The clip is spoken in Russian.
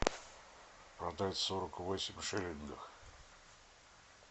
продать сорок восемь шиллингов